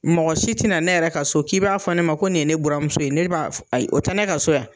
Mɔgɔ si tina ne yɛrɛ ka so k'i b'a fɔ ne ma ko nin ye ne buramuso ye, ne b'a fɔ, ayi, o tɛ ne ka so yan.